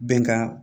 Bɛnkan